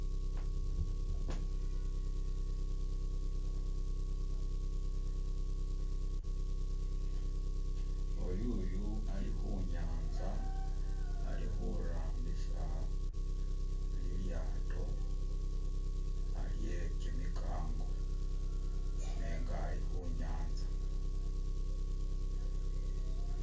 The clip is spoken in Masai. O'yuyu ali khunyanza, alikhurambisa lilyato lye kimikango nenga ali khunyanza.